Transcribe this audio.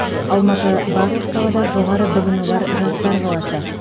алматы барлық салада жоғары білімі бар жастар қаласы